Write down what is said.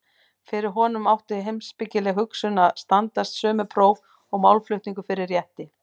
Fyrir honum átti heimspekileg hugsun að standast sömu próf og málflutningur fyrir rétti.